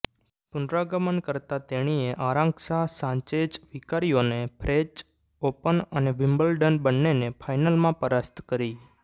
પુનરાગમન કરતાં તેણીએ Arantxa Sanchez વિકારિયોને ફ્રેચ ઓપન અને વિમ્બલડન બંન્નેને ફાઇનલમાં પરાસ્ત કરી